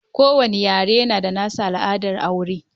Kowanne yare yana da nasa al'adar aure